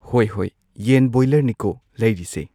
ꯍꯣꯏ ꯍꯣꯏ ꯌꯦꯟ ꯕꯣꯏꯂꯔꯅꯤꯀꯣ ꯂꯩꯔꯤꯁꯦ